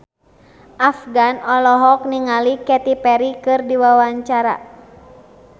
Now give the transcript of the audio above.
Afgan olohok ningali Katy Perry keur diwawancara